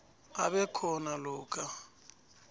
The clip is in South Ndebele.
abe khona lokha